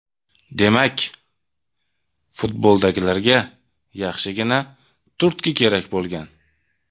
Demak, futboldagilarga yaxshigina turtki kerak bo‘lgan.